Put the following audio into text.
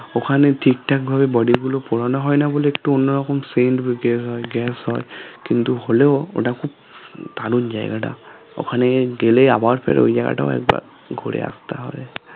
ওখানে ঠিক ঠাক ভাবে body গুলো পোড়ানো হয় না বলে একটু অন্যরকম scent বা gas হয় gas হয় কিন্তু হলেও ওটা খুব দারুন জায়গাটা ওখানে দিনে আবার ফের ওই জায়গাটা ঘুরে আসতে হয়